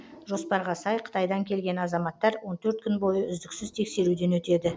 жоспарға сай қытайдан келген азаматтар он төрт күн бойы үздіксіз тексеруден өтеді